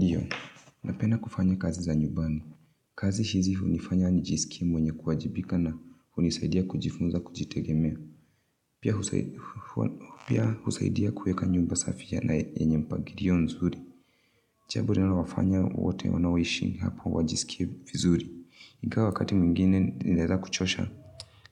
Ndiyo, napenda kufanya kazi za nyumbani. Kazi shizi hunifanya nijisikie mwenye kuwajibika na hunisaidia kujifunza kujitegemea. Pia husaidia kuweka nyumba safi yenye mpangirio nzuri. Jambo linalowafanya wote wanaoishi hapo wajisike vizuri. Ingawa wakati mwingine inaeza kuchosha.